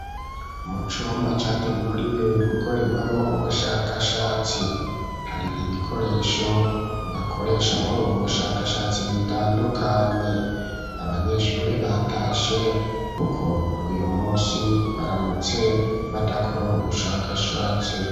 Mu cumba categuriwe gukorerwamo ubushakashatsi, hari ibikoresho bakoresha muri ubu bushakashatsi bitandukanye, abanyeshuri batashe kuko uyu munsi baramutse badakora ubu bushakashatsi.